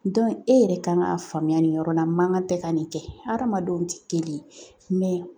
e yɛrɛ kan k'a faamuya nin yɔrɔ la man kan tɛ ka nin kɛ hadamadenw tɛ kelen ye